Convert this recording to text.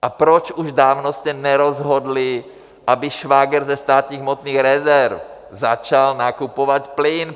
A proč už dávno jste nerozhodli, aby Švagr ze Státních hmotných rezerv začal nakupovat plyn?